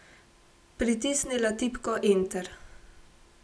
Pritisnila tipko enter.